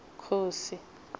khosi